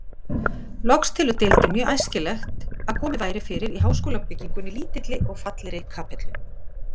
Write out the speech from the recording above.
Loks telur deildin mjög æskilegt, að komið væri fyrir í háskólabyggingunni lítilli og fallegri kapellu.